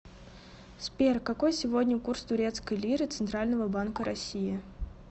сбер какой сегодня курс турецкой лиры центрального банка россии